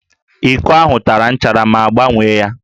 Íkó ahụ tara nchara mụ agbanwee ya